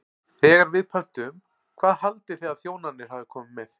Þegar við pöntuðum, hvað haldið þið að þjónarnir hafi komið með?